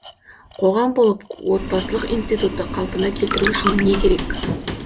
қоғам болып отбасылық институтты қалпына келтіру үшін не керек